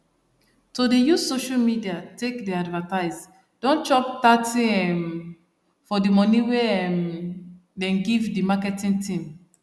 to dey use social media take dey advertise don chop thirty um for the money wey um them give the marketing team